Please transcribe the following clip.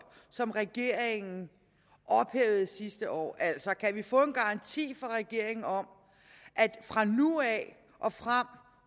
som regeringen ophævede sidste år altså kan vi få en garanti fra regeringen om at fra nu af og frem